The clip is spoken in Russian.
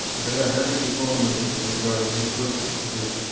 блять как эти клоуны уже заебали ну просто пиздец